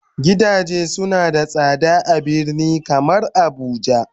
gidaje suna da sada a birni kamar abuja.